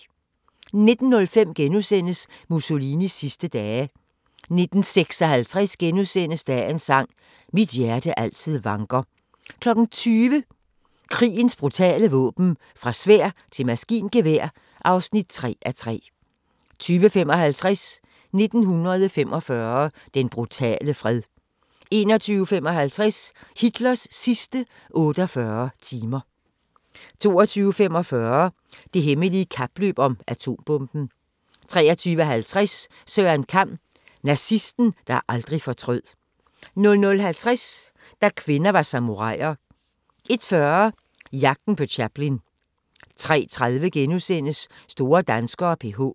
19:05: Mussolinis sidste dage * 19:56: Dagens sang: Mit hjerte altid vanker * 20:00: Krigens brutale våben - fra sværd til maskingevær (3:3) 20:55: 1945 – den brutale fred 21:55: Hitlers sidste 48 timer 22:45: Det hemmelige kapløb om atombomben 23:50: Søren Kam: Nazisten, der aldrig fortrød 00:50: Da kvinder var samuraier 01:40: Jagten på Chaplin 03:30: Store danskere: PH *